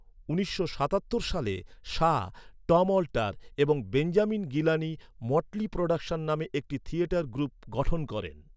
উনিশশো সাতাত্তর সালে শাহ, টম অল্টার এবং বেঞ্জামিন গিলানি মটলি প্রোডাকশন নামে একটি থিয়েটার গ্রুপ গঠন করেন।